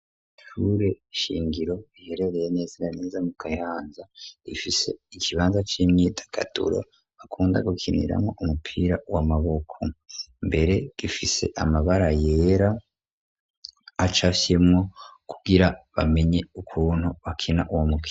Ishure shingiro iherereye neza na neza mu kayanza rifise ikibanza c'imyitagaturo bakunda gukiniramwo umupira w'amaboko. Mbere gifise amabara yera acafyemwo kugira bamenye ukuntu bakina uwo mukino.